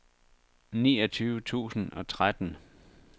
niogtyve tusind og tretten